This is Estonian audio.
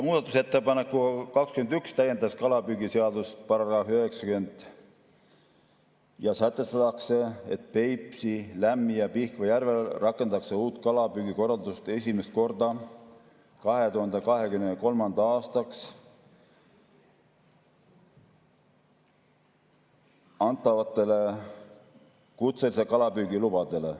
Muudatusettepanekuga 21 täiendatakse kalapüügiseadust §‑ga 90 ja sätestatakse, et Peipsi, Lämmi‑ ja Pihkva järvel rakendatakse uut kalapüügikorraldust esimest korda 2023. aastaks antavatele kutselise kalapüügi lubadele.